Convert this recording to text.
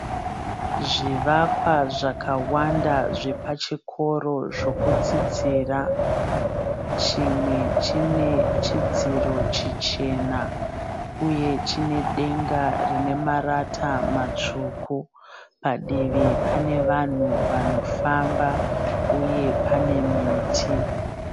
Zvivakwa zvakawanda zvepachikoro zvokudzidzira. Chimwe chine chidziro chichena uye chine denga rinemarata matsvuku. Padivi pane vanhu vanofamba uye pane miti.